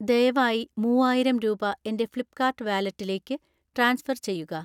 ദയവായി മൂവായിരം രൂപ എൻ്റെ ഫ്ലിപ്പ്കാർട്ട് വാലറ്റിലേക്ക് ട്രാൻസ്ഫർ ചെയ്യുക